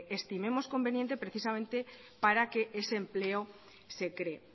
estimemos conveniente precisamente para que ese empleo se cree